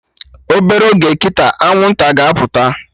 Obere oge kịta, Anwụnta ga-apụta